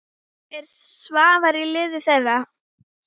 Er Svavar í liði þeirra?